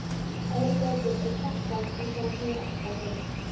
Að öðru leyti er Kjartan einsog hann hefur alltaf verið.